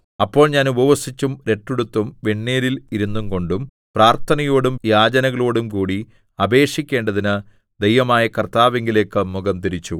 അപ്പോൾ ഞാൻ ഉപവസിച്ചും രട്ടുടുത്തും വെണ്ണീരിൽ ഇരുന്നുകൊണ്ടും പ്രാർത്ഥനയോടും യാചനകളോടും കൂടി അപേക്ഷിക്കേണ്ടതിന് ദൈവമായ കർത്താവിങ്കലേക്ക് മുഖം തിരിച്ചു